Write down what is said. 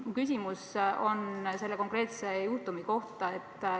Mu küsimus on selle konkreetse juhtumi kohta.